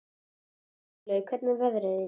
Sigurlaug, hvernig er veðrið í dag?